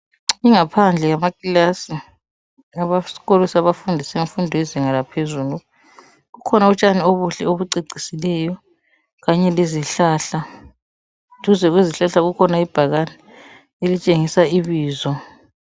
Ingaphandle yamakilasi esikolo sabafundi senfundo yezinga laphezulu kukhona utshani obuhle obucecisileyo kanye lezihlahla. Duze kwezihlahla kukhona ibhakani elitshengisa ibizo.